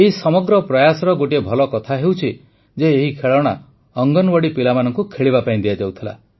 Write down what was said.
ଏହି ସମଗ୍ର ପ୍ରୟାସର ଗୋଟିଏ ଭଲ କଥା ହେଉଛି ଯେ ଏହି ଖେଳଣା ଅଙ୍ଗନୱାଡ଼ି ପିଲାମାନଙ୍କୁ ଖେଳିବା ପାଇଁ ଦିଆଯାଉଥିଲା